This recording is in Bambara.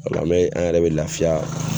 Wala i man ye an yɛrɛ mɛ laafiya.